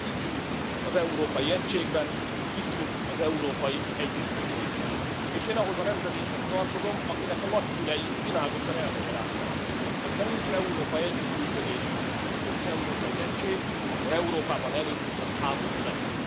Ezért mi hiszünk az európai egységben, hiszünk az európai együttműködésben, és én ahhoz a nemzedékhez tartozom, akinek a nagyszülei világosan elmagyarázták, hogyha nincs európai együttműködés és nincs európai egység, akkor Európában előbb utóbb háború lesz.